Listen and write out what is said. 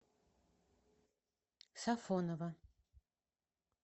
сафонова